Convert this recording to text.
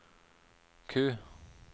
Q